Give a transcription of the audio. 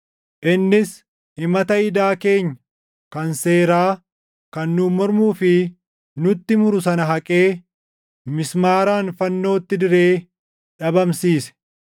innis himata idaa keenya kan seeraa kan nuun mormuu fi nutti muru sana haqee mismaaraan fannootti diree dhabamsiise.